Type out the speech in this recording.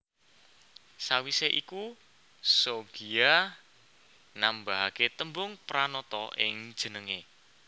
Sawisé iku Soegiya nambahaké tembung Pranata ing jenengé